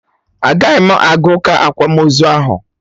Agaghị m aga ụka akwamozu ahụ